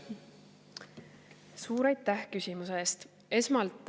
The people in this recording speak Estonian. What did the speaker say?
Suur aitäh küsimuse eest!